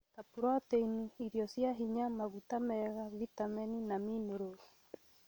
ta proteini, irio cia hinya, maguta mega, vitamini, na minerals.